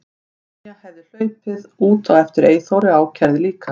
Tanya hefði hlaupið út á eftir Eyþóri og ákærði líka.